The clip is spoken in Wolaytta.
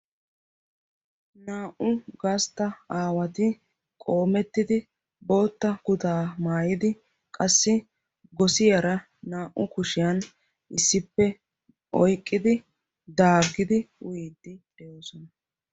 Naa"u gastta asati qoomettidi bootta kutaa maayidi qassi gosiyaara naa"u kushshiyaan issippe oyqqidi daaggidi uyiidi de'oosona.